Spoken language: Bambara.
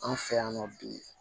Anw fɛ yan nɔ bi